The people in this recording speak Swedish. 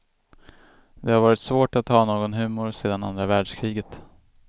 Det har varit svårt att ha någon humor sedan andra världskriget.